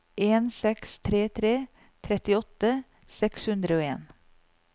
en seks tre tre trettiåtte seks hundre og en